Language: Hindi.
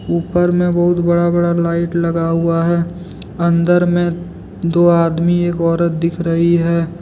ऊपर में बहुत बड़ा बड़ा लाइट लगा हुआ है अंदर में दो आदमी एक औरत दिख रही है।